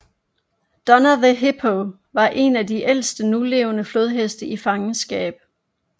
Donna the Hippo var en af de ældste nulevende flodheste i fangenskab